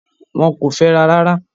Wọ́n kò fẹ́ra rárá.